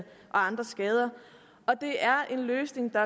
andre skader og det er en løsning der